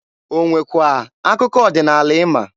O nwekwa akụkọ ọdịnaala ịma?